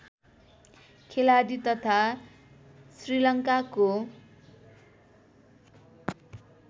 खेलाडी तथा श्रीलङ्काको